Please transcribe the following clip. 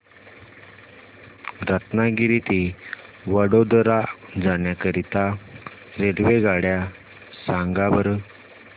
रत्नागिरी ते वडोदरा जाण्या करीता रेल्वेगाड्या सांगा बरं